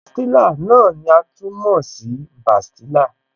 Pastilla náà ni a tún mọ̀ sí bastilla